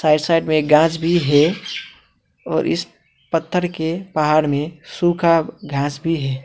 Right side में घास भी है और इस पत्थर के पहाड़ में सुखा घास भी है।